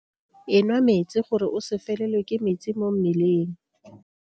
Enwa metsi gore o se felelwe ke metsi mo mmeleng.